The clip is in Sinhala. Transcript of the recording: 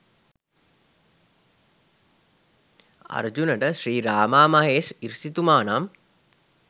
අර්ජුනට ශ්‍රී රාමා මහේෂ් ඍෂිතුමා නම්